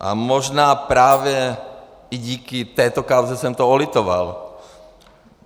A možná právě i díky této kauze jsem toho litoval.